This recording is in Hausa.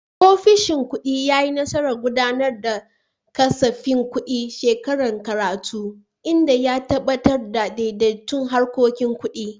Ofishin kudi ya yi nasarar gudanar da kasafin kudin shekarar karatu, inda ya tabbatar da daidaiton harkokin kudi.